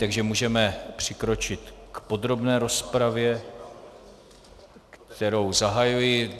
Takže můžeme přikročit k podrobné rozpravě, kterou zahajuji.